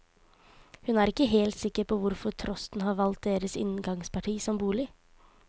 Hun er ikke helt sikker på hvorfor trosten har valgt deres inngangsparti som bolig.